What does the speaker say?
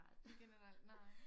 I generel nej